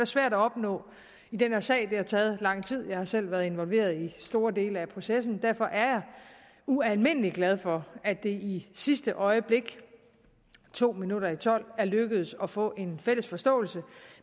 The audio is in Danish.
svært at opnå i den her sag det har taget lang tid jeg har selv været involveret i store dele af processen derfor er jeg ualmindelig glad for at det i sidste øjeblik to minutter i tolv er lykkedes at få en fælles forståelse